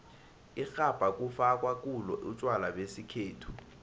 irhabha kufakwa kulo utjwala besikhethu